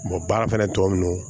baara fana tɔ minnu